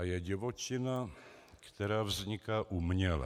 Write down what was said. A je divočina, která vzniká uměle.